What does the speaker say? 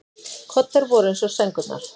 Koddar voru eins og sængurnar.